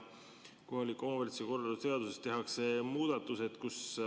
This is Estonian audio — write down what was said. Kohaliku omavalitsuse korralduse seaduses tehakse järgmised muudatused.